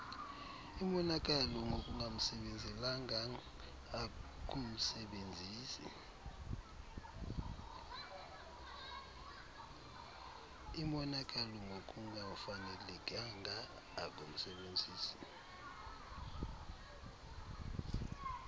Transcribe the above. imonakalo ngokungafanelekanga kumsebenzisi